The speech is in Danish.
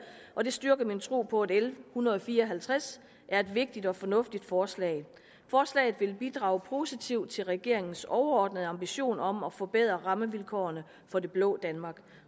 og det styrker min tro på at l en hundrede og fire og halvtreds er et vigtigt og fornuftigt forslag forslaget vil bidrage positivt til regeringens overordnede ambition om at forbedre rammevilkårene for det blå danmark